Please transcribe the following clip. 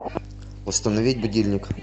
установить будильник